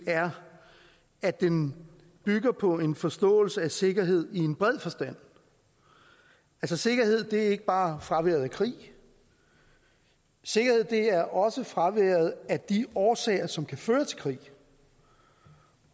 er at den bygger på en forståelse af sikkerhed i en bred forstand sikkerhed er ikke bare fraværet af krig sikkerhed er også fraværet af de årsager som kan føre til krig